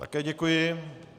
Také děkuji.